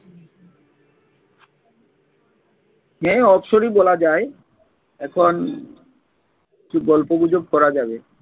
হ্যাঁ অবসরই বলা যায় এখন গল্প গুজব করা যাবে ।